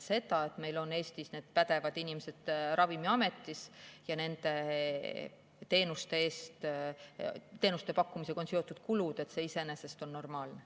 See, et meil on Eestis need pädevad inimesed Ravimiametis ja nende teenuste pakkumisega on seotud kulud, on normaalne.